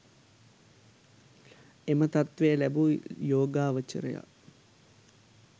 එම තත්ත්වය ලැබූ යෝගාවචරයා